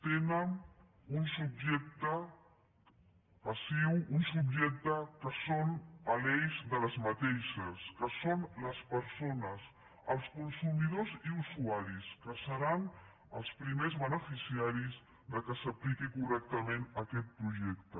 tenen un subjecte passiu un subjecte que és a l’eix d’aquestes polítiques que són les persones els consumidors i usuaris que seran els primers beneficiaris que s’apliqui correctament aquest projecte